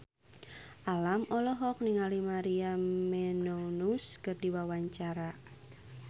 Alam olohok ningali Maria Menounos keur diwawancara